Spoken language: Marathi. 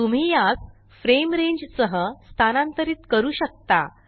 तुम्ही यास फ्रेम रेंज सह स्थानांतरित करू शकता